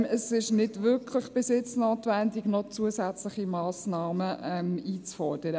Es ist bis jetzt nicht wirklich notwendig, zusätzliche Massnahmen einzufordern.